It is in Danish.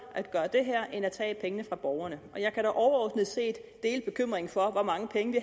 at gøre det her end at tage pengene fra borgerne jeg kan da overordnet set dele bekymringen for hvor mange penge vi